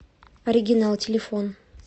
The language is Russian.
оригинал телефон